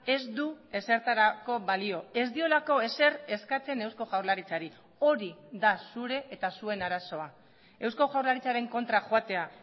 ez du ezertarako balio ez diolako ezer eskatzen eusko jaurlaritzari hori da zure eta zuen arazoa eusko jaurlaritzaren kontra joatea